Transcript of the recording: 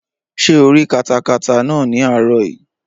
Ṣé o rí katakata náà ní àárọ̀ yìí?